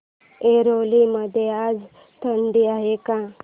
ऐरोली मध्ये आज थंडी आहे का